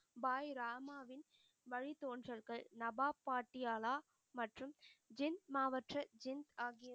பாய் ராமாவின் வழித்தோன்றல்கள் நபா பாட்டியாலா மற்றும் மாவற்ற ஆகிய